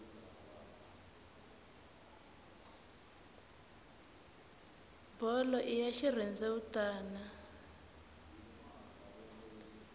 bolo i ya xirhendewutani